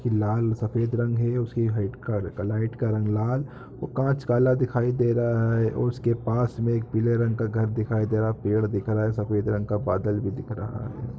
लाल सफ़ेद रंग हैं उसकी हाइट लाइट का का रंग लाल कांच काल दिखाई दे रहा हैंऔर उसके पास मैं एक पीले रंग का घर दिखाई दे रहा है पेड़ दिख रहा है सफ़ेद रंग का बादल भी दिख रहा है।